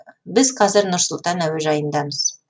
біз қазір нұр сұлтан әуежайындамыз